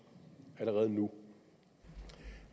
allerede nu